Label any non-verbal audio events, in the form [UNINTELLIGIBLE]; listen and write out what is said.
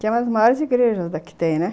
Que é uma das [UNINTELLIGIBLE] igrejas, [UNINTELLIGIBLE] né?